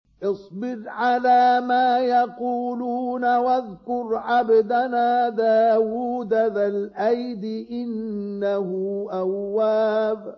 اصْبِرْ عَلَىٰ مَا يَقُولُونَ وَاذْكُرْ عَبْدَنَا دَاوُودَ ذَا الْأَيْدِ ۖ إِنَّهُ أَوَّابٌ